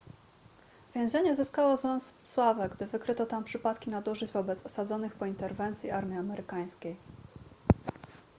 więzienie zyskało złą sławę gdy wykryto tam przypadki nadużyć wobec osadzonych po interwencji armii amerykańskiej